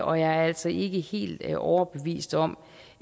og jeg er altså ikke helt overbevist om